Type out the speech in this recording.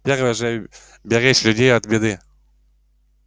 первый же беречь людей от беды